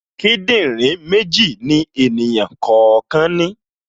Kíndìnrín méjì ni ènìyàn kọ̀ọ̀kan ní